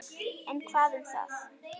En hvað um það